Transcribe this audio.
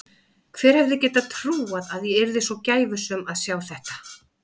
Hver hefði getað trúað að ég yrði svo gæfusöm að sjá þetta.